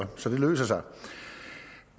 så det løser sig